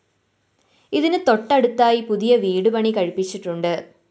ഇതിന് തൊട്ടടുത്തായി പുതിയ വീട് പണികഴിപ്പിച്ചിട്ടുണ്ട്